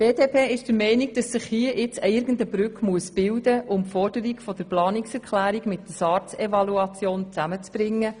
Die BDP ist der Meinung, dass sich hier irgendeine Brücke bilden muss, um die Forderung der Planungserklärung mit der SARZ-Evaluation zusammenzubringen.